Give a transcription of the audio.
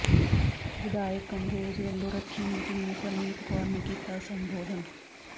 ਵਿਧਾਇਕ ਕੰਬੋਜ ਵੱਲੋਂ ਰੱਖੀ ਮੀਟਿੰਗ ਨੂੰ ਪ੍ਰਨੀਤ ਕੌਰ ਨੇ ਕੀਤਾ ਸੰਬੋਧਨ